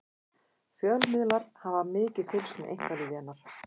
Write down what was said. fjölmiðlar hafa mikið fylgst með einkalífi hennar